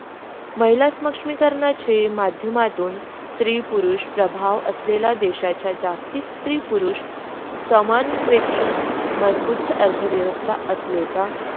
महिला सक्षमीकरणाची माध्यमातून स्त्री-पुरुष प्रभाव असलेल्या देशाच्या जास्ती स्त्री-पुरुष समान होती मजबूत अर्थव्यवस्था असले ता.